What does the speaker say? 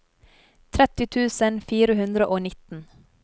tretti tusen fire hundre og nitten